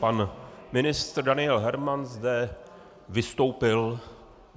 Pan ministr Daniel Herman zde vystoupil.